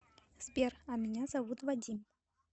сбер а меня зовут вадим